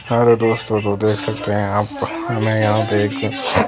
hello दोस्तों तो देख सकते हैं आप हमें यहां पे एक--